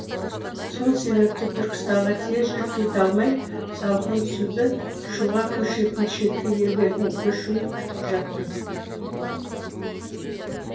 сол себепті түркістанға тез жүріп кете алмай салқын түсуді шуға көшетін шеткі елдердің көшуін күтіп жаттым